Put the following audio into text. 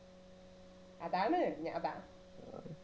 അതാണ് ഞാ അതാ